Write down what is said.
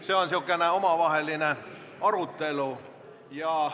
See on sihuke omavaheline arutelu.